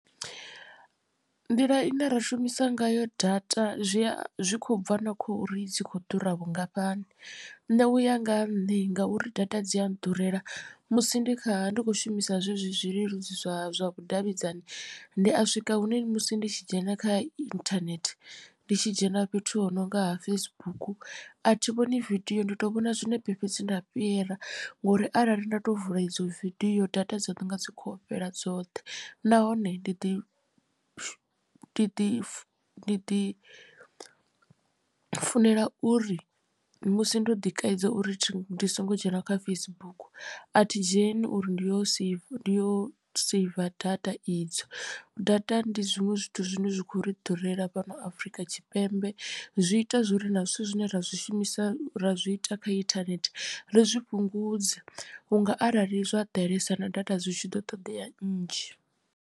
Nḓila ine ra shumisa ngayo data zwi a zwi khou bva na khouri dzi kho ḓura vhungafhani nṋe uya nga ha nṋe ngauri data dzi a nḓurela musi ndi kha ndi kho shumisa zwezwi zwileludzi zwa vhudavhidzani ndi a swika hune musi ndi tshi dzhena kha internet ndi tshi dzhena fhethu ho nonga ha Facebook a thi vhoni vidio ndi to vhona zwinepe fhedzi nda fhira ngori arali nda to vula idzo vidio data dzo no nga dzi khou fhela dzoṱhe. Nahone ndi ḓi ndi ḓi ndi ḓi funela uri musi ndo ḓi kaidza uri ndi songo dzhena kha Facebook athi dzheni uri ndi yo seiva ndi yo seiva data idzo data ndi zwiṅwe zwithu zwine zwa kho ri ḓurela fhano Afurika Tshipembe zwi ita zwori na zwithu zwine ra zwishumisa ra zwi ita kha internet ri zwi fhungudze vhunga arali zwa ḓalesa na data zwi tshi ḓo ṱoḓea nnzhi.